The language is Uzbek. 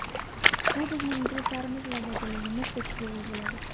Bu bizning intilishlarimiz va dadilligimiz tekshiruvi bo‘ladi.